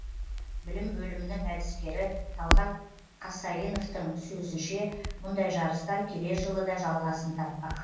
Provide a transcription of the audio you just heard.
білім бөлімінің әдіскері талғат қасайновтың сөзінше мұндай жарыстар келер жылы да жалғасын таппақ